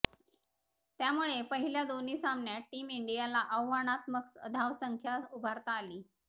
त्यामुळेच पहिल्या दोन्ही सामन्यात टीम इंडियाला आव्हानात्मक धावसंख्या उभारता आली